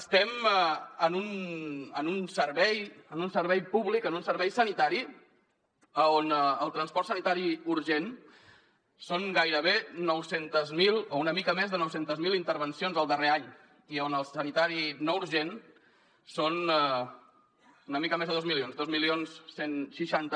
estem en un servei públic en un servei sanitari on el transport sanitari urgent són gairebé nou cents miler o una mica més de nou cents miler intervencions el darrer any i on el sanitari no urgent són una mica més de dos milions dos mil cent i seixanta